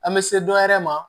An bɛ se dɔ wɛrɛ ma